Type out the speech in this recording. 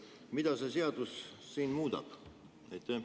Mida see seadus muudab?